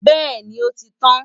bẹ́ẹ̀ni, ó ti tán